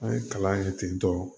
An ye kalan kɛ ten tɔ